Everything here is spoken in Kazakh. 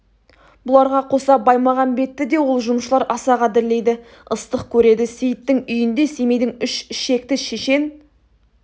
бұларға қоса баймағамбетті де ол жұмысшылар аса қадірлейді ыстық көреді сейіттің үйінде семейдің үш ішекті шешен